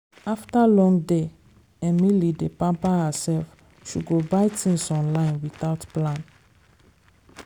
after long day emily d pamper herself she go buy things online without plan.